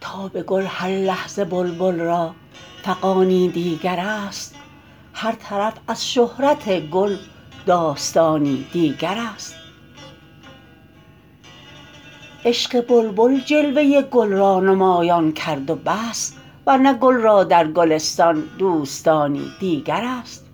تا به گل هر لحظه بلبل را فغانی دیگراست هر طرف از شهرت گل داستانی دیگر است عشق بلبل جلوه گل را نمایان کرد و بس ورنه گل را درگلستان دوستانی دیگر است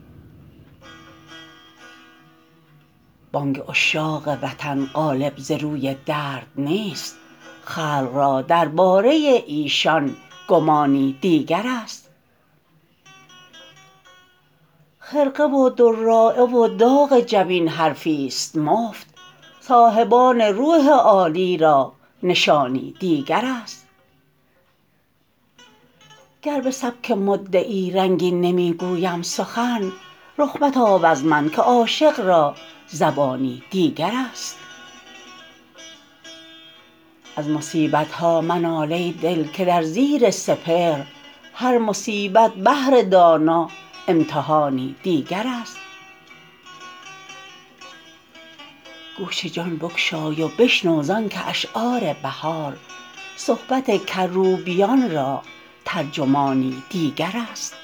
بانگ عشاق وطن غالب زروی درد نیست خلق را درباره ایشان گمانی دیگر است خرقه و دراعه و داغ جبین حرفیست مفت صاحبان روح عالی را نشانی دیگر است گربه سبک مدعی رنگین نمی گویم سخن رخ متاب از من که عاشق را زبانی دیگر است از مصیبت ها منال ای دل که در زیر سپهر هر مصیبت بهر دانا امتحانی دیگر است گوش جان بگشای و بشنو زانکه اشعار بهار صحبت کروبیان را ترجمانی دیگر است